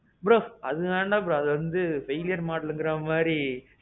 bro. அது வேண்டாம் bro. அது வந்து buyer modelங்குற மாதிரி.